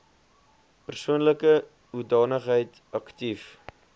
persoonlike hoedanigheid aktief